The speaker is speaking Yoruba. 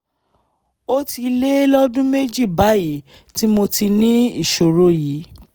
ó ti lé lọ́dún méjì báyìí tí mo ti ní ìṣòro yìí